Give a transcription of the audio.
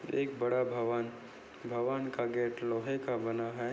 एक बड़ा भवन भवन का गेट लोहे का बना है।